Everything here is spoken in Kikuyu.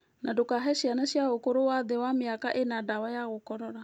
Na ndũkahe ciana cia ũkũrũ wa thĩ ya mĩaka ĩna ndawa ya gũkorora.